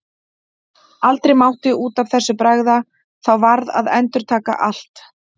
Aldrei mátti út af þessu bregða, þá varð að endurtaka allt.